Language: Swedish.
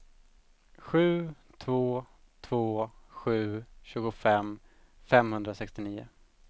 sju två två sju tjugofem femhundrasextionio